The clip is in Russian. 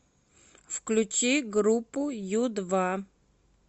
включи группу ю два